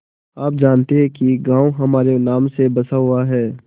आप जानती हैं कि गॉँव हमारे नाम से बसा हुआ है